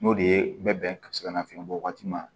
N'o de ye bɛ bɛn ka se ka nafiɲɛ bɔ waati ma